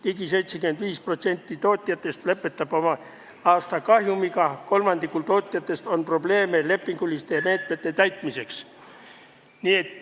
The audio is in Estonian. Ligi 75% tootjatest lõpetab oma aasta kahjumiga, kolmandikul tootjatest on probleeme lepingute täitmisega.